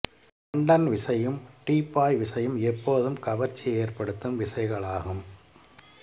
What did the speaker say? London விசையும் Dubai விசையும் எப்போதும் கவர்ச்சியை ஏற்படுத்தும் விசைகளாகும்